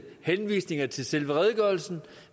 henvisninger til selve redegørelsen